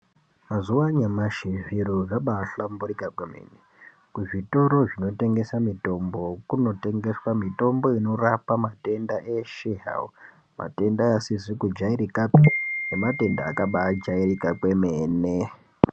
Mazuwa anyamashi zviro zvabaahlamburika kwemene, kuzvitoro zvinotengesa mitombo kunotengeswa mitombo inorapa matenda eshe hawo matenda asizi kujairika nematenda akabaajairika kwemene.